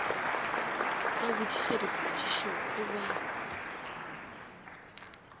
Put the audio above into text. ba botpipa dipotpipo go ba